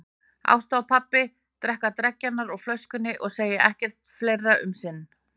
Ásta og pabbi drekka dreggjarnar úr flöskunni og segja ekki fleira um sinn.